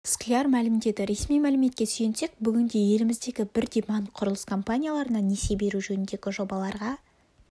скляр мәлімдеді ресми мәліметке сүйенсек бүгінде еліміздегі бірдей банк құрылыс компанияларына несие беру жөніндегі жобаларға